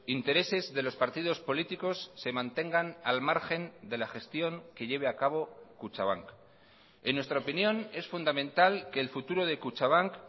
intereses de los partidos políticos se mantengan al margen de la gestión que lleve a cabo kutxabank en nuestra opinión es fundamental que el futuro de kutxabank